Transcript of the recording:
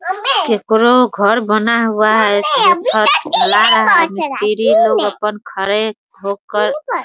केकरो घर बना हुआ है छत ढला रहा है मिस्त्री लोग अपन खड़े हो कर --